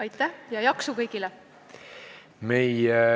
Aitäh ja jaksu kõigile!